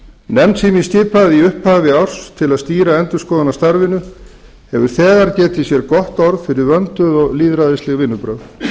nefnd sem ég skipaði í upphafi árs til að stýra endurskoðunarstarfinu hefur þegar getið sér gott orð fyrir vönduð og lýðræðisleg vinnubrögð